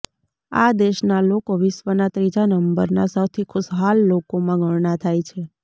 આ દેશનાં લોકો વિશ્વનાં ત્રીજા નંબરનાં સૌથી ખુશહાલ લોકોમાં ગણના થાય છે